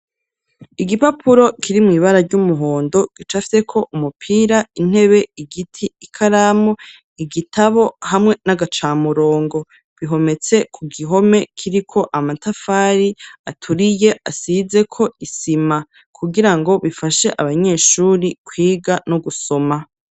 Igipapuro kiri mw'ibara ry'umuhondo, gicafyeko umupira, intebe, igiti, ikaramu igitabo, hamwe n'agacamurongo; bihometse ku gihome kiriko amatafari aturiye, asizeko isima, kugira ngo bifashe abanyeshuri kwiga no gusoma.